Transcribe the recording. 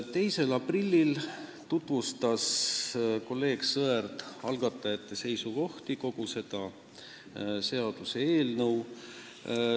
2. aprillil tutvustas kolleeg Sõerd algatajate seisukohti, kogu seda seaduseelnõu.